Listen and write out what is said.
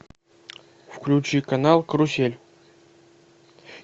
включи канал карусель